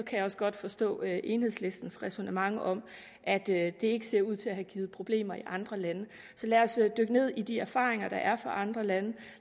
jeg også godt forstå enhedslistens ræsonnement om at det ikke ser ud til at have givet problemer i andre lande så lad os dykke ned i de erfaringer der er fra andre lande